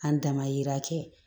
An damayira kɛ